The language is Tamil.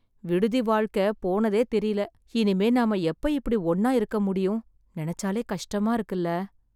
விடுதி வாழ்க்கை போனதே தெரில. இனிமே நாம எப்ப இப்படி ஒண்ணா இருக்க முடியும்? நினைச்சாலே கஷ்டமா இருக்குல.